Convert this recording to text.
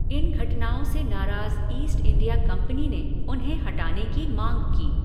इन घटनाओं से नाराज़ ईस्ट इंडिया कंपनी ने उन्हें हटाने की माँग की।